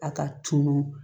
A ka tunu